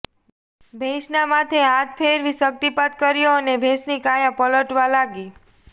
ભેંસના માથે હાથ ફેરવી શક્તિપાત કર્યો અને ભેંસની કાયા પલટવા લાગી